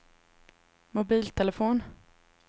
mobiltelefon